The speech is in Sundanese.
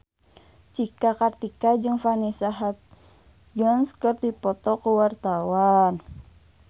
Cika Kartika jeung Vanessa Hudgens keur dipoto ku wartawan